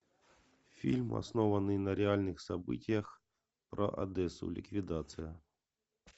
фильм основанный на реальных событиях про одессу ликвидация